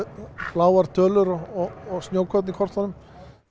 bláar tölur og snjókorn í kortunum